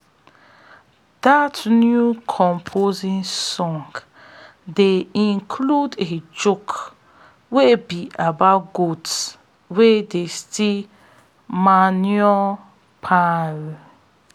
dat new composting song dey include a joke wey be about goats wey dey steal manure piles